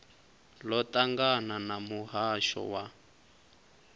ḽo ṱangana na muhasho wa